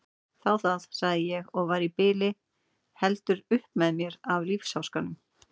Þá það, sagði ég og var í bili heldur upp með mér af lífsháskanum.